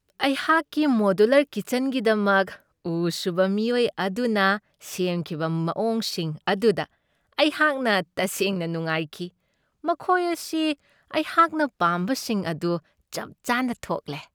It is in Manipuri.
ꯑꯩꯍꯥꯛꯀꯤ ꯃꯣꯗ꯭ꯌꯨꯂꯔ ꯀꯤꯆꯟꯒꯤꯗꯃꯛ ꯎ ꯁꯨꯕ ꯃꯤꯑꯣꯏ ꯑꯗꯨꯅ ꯁꯦꯝꯈꯤꯕ ꯃꯋꯣꯡꯁꯤꯡ ꯑꯗꯨꯗ ꯑꯩꯍꯥꯛꯅ ꯇꯁꯦꯡꯅ ꯅꯨꯡꯉꯥꯏꯈꯤ꯫ ꯃꯈꯣꯏ ꯑꯁꯤ ꯑꯩꯍꯥꯛꯅ ꯄꯥꯝꯕꯁꯤꯡ ꯑꯗꯨ ꯆꯞ ꯆꯥꯅ ꯊꯣꯛꯂꯦ꯫